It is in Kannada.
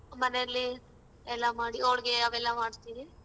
ಮನೆಲಿ ಎಲ್ಲಾ ಮಾಡಿ ಹೋಳ್ಗೆ ಅವೆಲ್ಲಾ ಮಾಡ್ತೀವಿ.